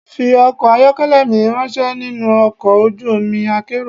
Fi ọkọ̀ ayọ́kẹ́lẹ́ mi ráńṣẹ́ nínú ọkọ̀ ojú omi akérò.